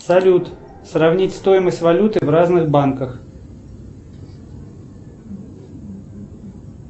салют сравнить стоимость валюты в разных банках